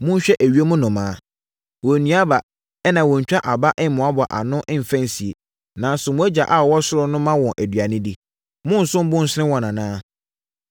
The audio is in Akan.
Monhwɛ ewiem nnomaa, wɔnnua aba ɛnna wɔntwa aba mmoaboa ano mfa nsie, nanso mo Agya a ɔwɔ ɔsoro no ma wɔn aduane di. Monnsom bo nsene wɔn anaa?